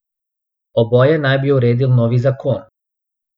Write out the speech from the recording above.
Oboje naj bi uredil novi zakon.